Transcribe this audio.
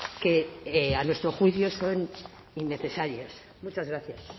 que a nuestro juicio son innecesarios muchas gracias